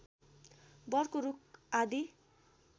वरको रूख आदि